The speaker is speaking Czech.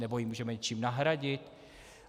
Nebo ji můžeme něčím nahradit?